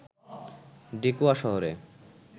ডেকোয়া শহরে